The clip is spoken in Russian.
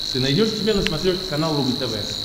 ты найдешь у себя на смотрешке канал рубль тв